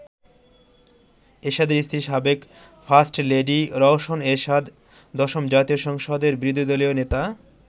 এরশাদের স্ত্রী সাবেক ফার্স্টলেডি রওশন এরশাদ দশম জাতীয় সংসদের বিরোধী দলীয় নেতা।